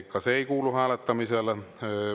Ka see ei kuulu hääletamisele.